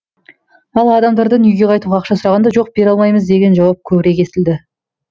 ал адамдардан үйге қайтуға ақша сұрағанда жоқ бере алмаймыз деген жауап көбірек естілді